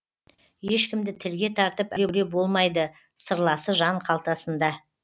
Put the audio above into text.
ешкімді тілге тартып әуре болмайды сырласы жан қалтасында